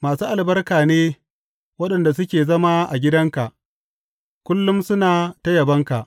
Masu albarka ne waɗanda suke zama a gidanka; kullum suna ta yabonka.